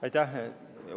Aitäh!